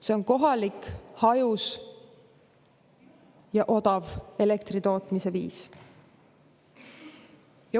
See on kohalik, hajus ja odav elektri tootmise viis.